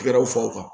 Tɛgɛrɛw fɔ u kan